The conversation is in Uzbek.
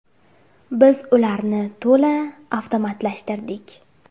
Biz ularni to‘la avtomatlashtirdik.